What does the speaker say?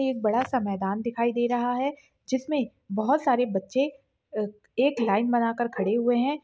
एक बड़ा सा मैदान दिखाई दे रहा है जिसमें बहुत सारे बच्चे एक लाइन बनकर खड़े हुए हैं।